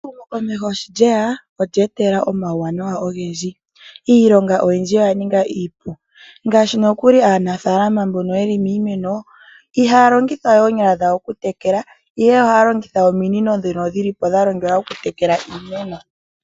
Ehumo komeho sho lyeya olya etelela omawuwanawa ogendji. Iilonga oyindji oya ninga iipu. Ngaashi nokuli aanafalama mbono yeli miimeno, ihaya longitha we oonyala dhawo oku tekela, ihe ohaa longitha ominino dhono dhilipo dhalongelwa oku tekela iimeno.